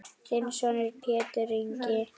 Þinn sonur Pétur Ingi.